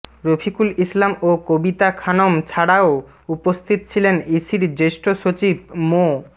রফিকুল ইসলাম ও কবিতা খানম ছাড়াও উপস্থিত ছিলেন ইসির জ্যেষ্ঠ সচিব মো